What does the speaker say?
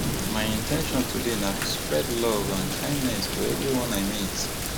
my in ten tion today na to spread love and kindness to everyone i meet